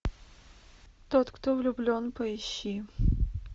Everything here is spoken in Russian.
тот кто влюблен поищи